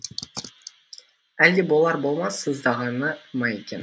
әлде болар болмас сыздағаны ма екен